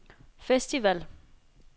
festival